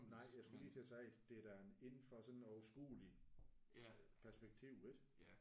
Nej jeg skulle lige til at sige det er da indenfor en sådan en overskuelig perspektiv ik?